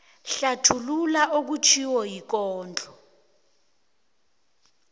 hlathulula okutjhiwo yikondlo